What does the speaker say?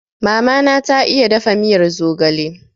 Mama na ta iya dafa miyar zogale